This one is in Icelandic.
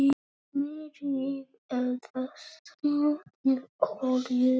Smyrjið eldfast mót með olíu.